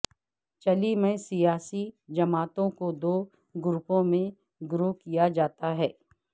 چلی میں سیاسی جماعتوں کو دو گروپوں میں گروہ کیا جاتا ہے